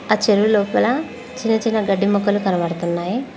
ఆ చెరువు లోపల చిన్నచిన్న గడ్డి మొక్కలు కనబడుతున్నాయి.